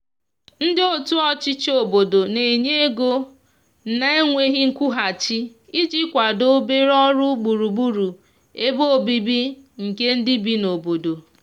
ndi otu ochichi obodo n'enye ego na nweghi nkwuhachi iji kwado obere ọrụ gburugburu ebe ọbìbi nke ndi bi n'obodo